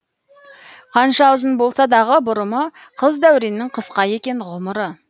қанша ұзын болса дағы бұрымы қыз дәуреннің қысқа екен ғұмыры